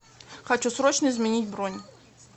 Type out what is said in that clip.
хочу срочно изменить бронь